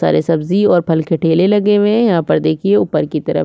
सारी सब्जी और फल के ठेले लगे हुये है यहाँ पर देखिये उपर की तरफ--